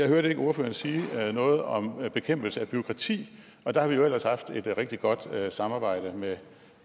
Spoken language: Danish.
hørte ordføreren sige noget om bekæmpelse af bureaukrati og der har vi jo ellers haft et rigtig godt samarbejde med